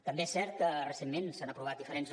també és cert que recentment s’han aprovat diferents